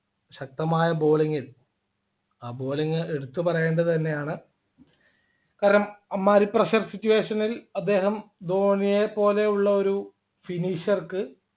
ശക്തമായ bowling ൽ ആ bowling എടുത്തുപറയേണ്ടത് തന്നെയാണ് കാരണം അമ്മാതിരി Pressure situation നിൽ അദ്ദേഹം ധോണിയെ പോലെയുള്ള ഒരു Finisher ക്ക്